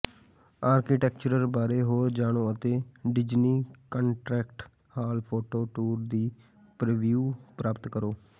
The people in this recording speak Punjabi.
ਆਰਕੀਟੈਕਚਰ ਬਾਰੇ ਹੋਰ ਜਾਣੋ ਅਤੇ Disney concert hall photo tour ਦਾ ਪ੍ਰੀਵਿਊ ਪ੍ਰਾਪਤ ਕਰੋ